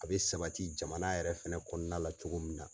A bɛ sabati jamana yɛrɛ fɛnɛ kɔnɔna la cogo min na.